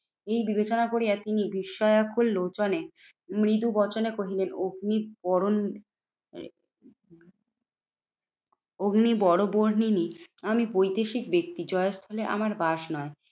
এই বিবেচনা করিয়া তিনি বিস্ময়কর লোচনে মৃদু বচনে কহিলেন, অগ্নি বরণ অগ্নি বরবর্ণিনী আমি বৈদেশিক ব্যক্তি জয়স্থানে আমার বাস নয়।